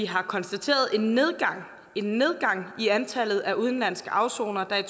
har konstateret en en nedgang i antallet af udenlandske afsonere der